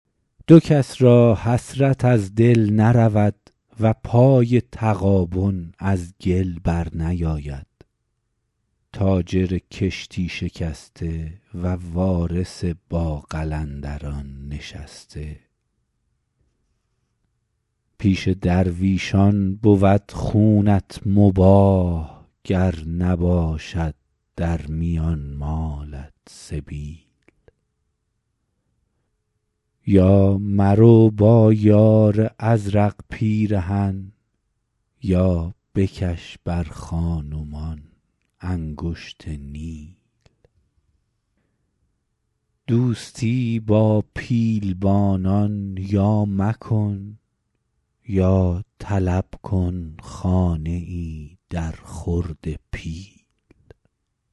دو کس را حسرت از دل نرود و پای تغابن از گل بر نیاید تاجر کشتی شکسته و وارث با قلندران نشسته پیش درویشان بود خونت مباح گر نباشد در میان مالت سبیل یا مرو با یار ازرق پیرهن یا بکش بر خان و مان انگشت نیل دوستی با پیلبانان یا مکن یا طلب کن خانه ای در خورد پیل